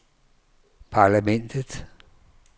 parlamentet